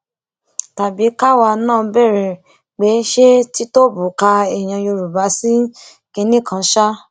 tàbí káwa náà béèrè pé ṣé tìtóbù ka ẹyà yorùbá sí kinní kan ṣáá